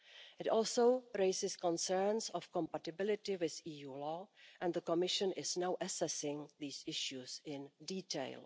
It also raises concerns of compatibility with EU law and the Commission is now assessing these issues in detail.